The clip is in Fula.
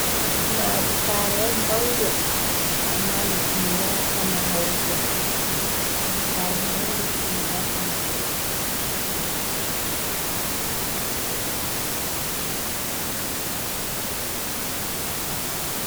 "Maadi saare" maunde amma ndi timminaka mahego saare maunde timmina ka mahego.